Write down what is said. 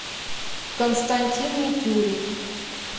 константин митюрев